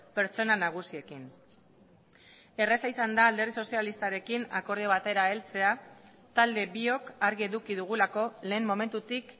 pertsona nagusiekin erraza izan da alderdi sozialistarekin akordio batera heltzea talde biok argi eduki dugulako lehen momentutik